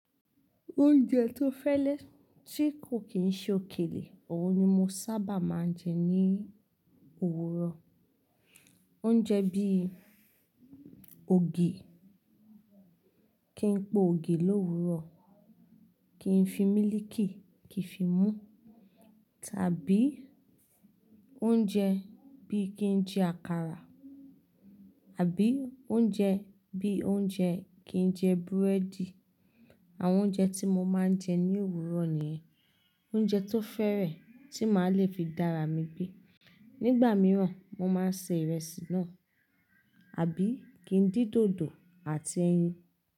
Oúnjẹ tó fẹ́lẹ́ tí kò kín ṣe òkèlè, òhun ni mo sábà máa ń jẹ ní òwúrọ̀. Oúnjẹ bí i ògì, kí n po ògì l'òwúrò, kí n fi mílíkì kí fi mú, tàbí oúnjẹ bí i kí n jẹ àkàrà àbí oúnjẹ bí i oúnjẹ kí n jẹ búrẹ́dì. Àwọn oúnjẹ tí mo máa ń jẹ ní òwúrọ̀ nìyẹn. Oúnjẹ tó fẹ́rẹ̀ẹ́ tí màá le fi dá ara mi gbé. Nígbà mìíràn, mo máa ń se ìrẹsì náà, àbí kí n dín dòdò àti ẹyin.